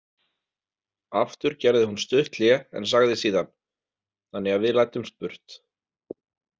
Aftur gerði hún stutt hlé en sagði síðan: Þannig að við læddumst burt.